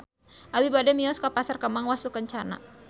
Abi bade mios ka Pasar Kembang Wastukencana